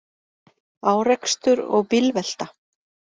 Árekstur og bílvelta